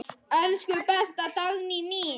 Elsku besta Dagný mín.